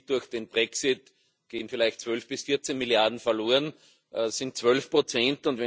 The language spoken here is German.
Durch den Brexit gehen vielleicht 12 bis 14 Milliarden verloren das sind 12 Prozent.